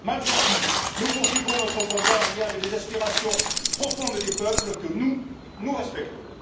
Malgré tout, nous poursuivrons notre combat en lien avec les aspirations profondes des peuples que nous, nous respectons!